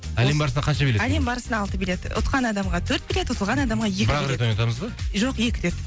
әлем барысына қанша билет әлем барысына алты билет ұтқан адамға төрт билет ұтылған адамға екі бірақ рет ойнатамыз ба жоқ екі рет